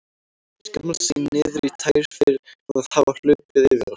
Skammast sín niður í tær fyrir að hafa hlaupið á sig.